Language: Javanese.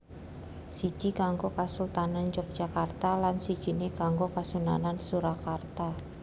Siji kanggo kasultanan Yogyakarta lan sijiné kanggo Kasunanan Surakarta